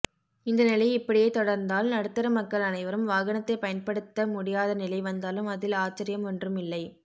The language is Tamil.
இந்த நிலை இப்படியே தொடர்ந்தாள் நடுத்தர மக்கள் அனைவரும் வாகனத்தை பயன்படுத்த முடியாத நிலை வந்தாலும் அதில் ஆச்சர்யம் ஒன்றுமில்லை